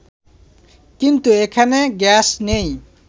কিন্তু এখানে গ্যাস নেই